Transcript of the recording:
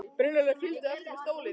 Brynjólfur fylgdi á eftir með stólinn.